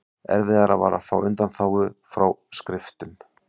Erfiðara var að fá undanþágu frá skriftum.